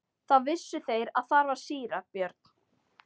Þá vissu þeir að þar var síra Björn.